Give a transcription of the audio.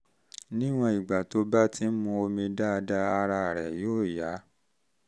níwọ̀n ìgbà tó bá ti ń um mu omi dáadáa ara um rẹ̀ yóò yá